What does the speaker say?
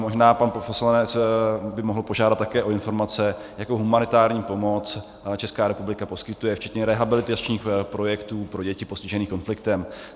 Možná pan poslanec by mohl požádat také o informace, jakou humanitární pomoc Česká republika poskytuje, včetně rehabilitačních projektů pro děti postižené konfliktem.